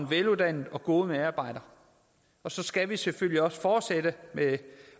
veluddannede og gode medarbejdere og så skal vi selvfølgelig også fortsætte med